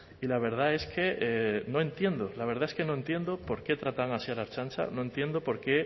y la verdad es que no entiendo la verdad es que no entiendo por qué tratan así a la ertzaintza no entiendo por qué